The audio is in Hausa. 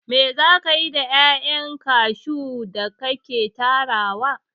Me za kayi da 'ya'yan kashu da ka ke tarawa?